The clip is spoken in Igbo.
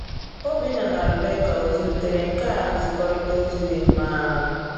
Obinna na Rebeka ọ zụlitere nkà nzikọrịta ozi dị mma?